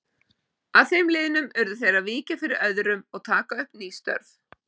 Að þeim liðnum urðu þeir að víkja fyrir öðrum og taka upp ný störf.